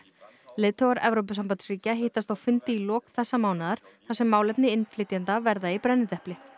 leiðtogar Evrópusambandsríkja hittast á fundi í lok þessa mánaðar þar sem málefni innflytjenda verða í brennidepli